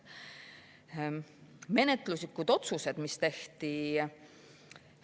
Menetluslikud otsused, mis tehti.